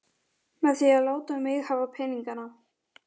Með því að láta mig hafa peninga?